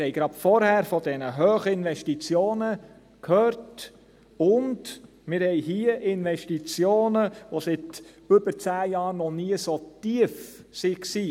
Wir haben gerade vorhin von diesen hohen Investitionen gehört, und wir haben hier Investitionen, die seit über zehn Jahren noch nie so tief waren.